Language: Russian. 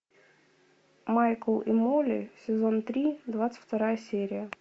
майкл и молли сезон три двадцать вторая серия